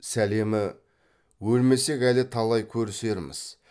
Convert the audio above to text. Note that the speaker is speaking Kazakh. сәлемі өлмесек әлі талай көрісерміз